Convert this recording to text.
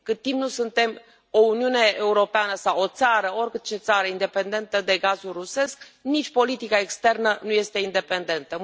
Cât timp nu suntem o Uniune Europeană sau o țară, orice țară independentă de gazul rusesc, nici politica externă nu este independentă.